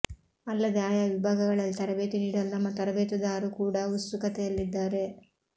ಅಲ್ಲದೆ ಆಯಾ ವಿಭಾಗಗಳಲ್ಲಿ ತರಬೇತಿ ನೀಡಲು ನಮ್ಮ ತರಬೇತುದಾರು ಕೂಡ ಉತ್ಸುಕತೆಯಲ್ಲಿದ್ದಾರೆ